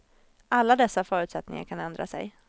Alla dessa förutsättningar kan ändra sig.